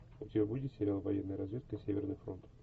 у тебя будет сериал военная разведка северный фронт